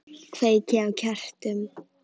Kveiki á kertum.